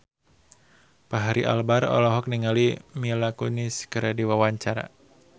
Fachri Albar olohok ningali Mila Kunis keur diwawancara